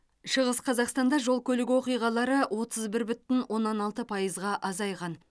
шығыс қазақстанда жол көлік оқиғалары отыз бір бүтін оннан алты пайызға азайған